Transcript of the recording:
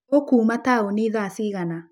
ũkuma taoni thaa cigana?